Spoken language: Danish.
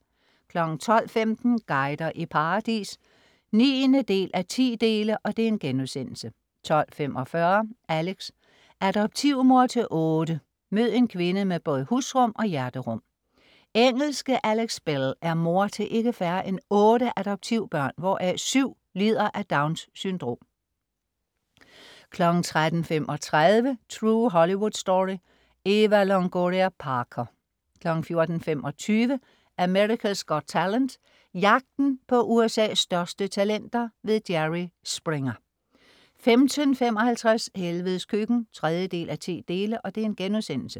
12.15 Guider i paradis 9:10* 12.45 Alex. Adoptivmor til otte. mød en kvinde med både husrum og hjerterum Engelske Alex Bell er mor til ikke færre end otte adoptivbørn, hvoraf syv lider af Downs syndrom 13.35 True Hollywood Story. Eva Longoria Parker 14.25 America's Got Talent. jagten på USA's største talenter. Jerry Springer 15.55 Helvedes Køkken 3:10*